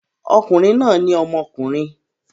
Okùnrin náà ní ọmọkùnrin.